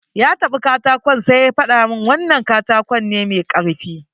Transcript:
Ya taɓa katakon sai ya gaya mun wannan katako ne mai karfi.